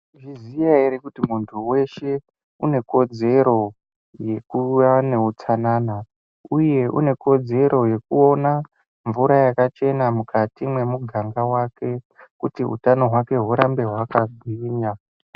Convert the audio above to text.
Maizviziya hre kuti muntu weshe une kodzero yekuva neutsanana uye une kodzero yekuona mvura yakachena memuganga wake kuti utano hwake hurambe hwakagwinya .